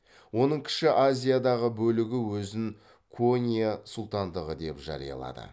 оның кіші азиядағы бөлігі өзін конья сұлтандығы деп жариялады